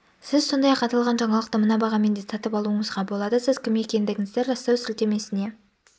сіз сондай-ақ аталған жаңалықты мына бағамен де сатып алуыңызға болады сіз кім екендігіңізді растау сілтемесіне